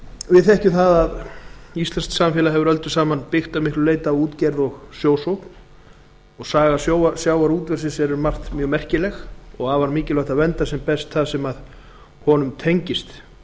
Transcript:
við þekkjum það að íslenskt samfélag hefur öldum saman byggst að miklu leyti á útgerð og sjósókn saga sjávarútvegsins er um margt merkileg og því afar mikilvægt að vernda sem best það sem honum tengist